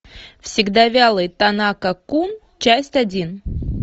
всегда вялый танака кун часть один